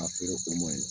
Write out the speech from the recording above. A feere o ma ɲi